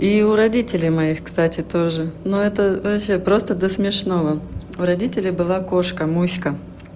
и у родителей моих кстати тоже но это вообще просто до смешного у родителей была кошка муська